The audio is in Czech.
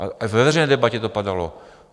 A ve veřejné debatě to padalo.